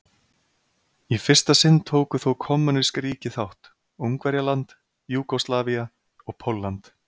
Í fyrsta sinn tóku þó kommúnísk ríki þátt: Ungverjaland, Júgóslavía og Pólland.